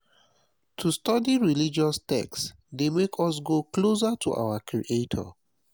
to study religious text de make us go closer to our creator